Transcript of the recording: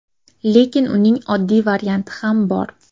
Lekin uning oddiy varianti ham bor.